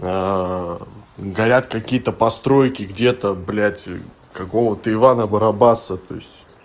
горят какие-то постройки где-то блядь какого-то ивана барабаса то есть